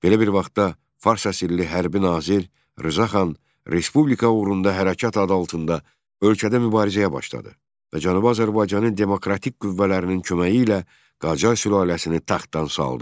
Belə bir vaxtda fars əsirli hərbi nazir Rza xan respublika uğrunda hərəkat adı altında ölkədə mübarizəyə başladı və Cənubi Azərbaycanın demokratik qüvvələrinin köməyi ilə Qacar sülaləsini taxtdan saldı.